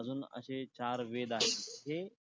अजून असे चार वेद आहेत , हे